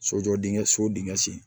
Sojɔ dingɛ so dingɛ sen